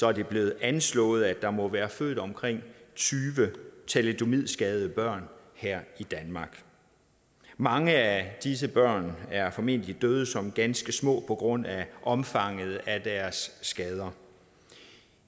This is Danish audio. er det blevet anslået at der må være født omkring tyve thalidomidskadede børn her i danmark mange af disse børn er formentlig døde som ganske små på grund af omfanget af deres skader